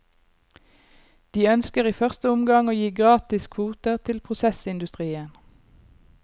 De ønsker i første omgang å gi gratis kvoter til prosessindustrien.